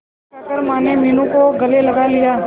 इतना कहकर माने मीनू को गले लगा लिया